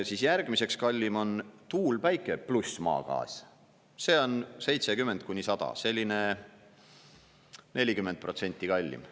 Siis järgmiseks kallim on tuul, päike pluss maagaas, see on 70–100 dollarit, selline 40% kallim.